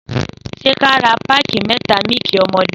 Sẹ kà rà pàkí mẹta mílìkí ọmọdẹ?